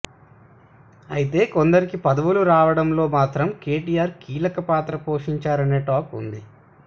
అయితే కొందరికి పదవులు రావడంలో మాత్రం కేటీఆర్ కీలక పాత్ర పోషించారనే టాక్ ఉంది